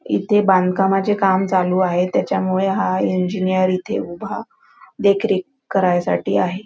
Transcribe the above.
इथे बांधकामाचे काम चालू आहे त्याच्यामूळ हा इंजीनियर इथे उभा देखरेख करायसाठी आहे.